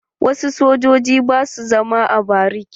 Wasu sojojin ba su zama a bariki.